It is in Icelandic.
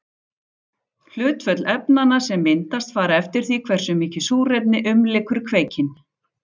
Hlutföll efnanna sem myndast fara eftir því hversu mikið súrefni umlykur kveikinn.